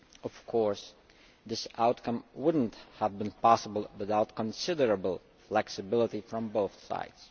Of course this outcome would not have been possible without considerable flexibility from both sides.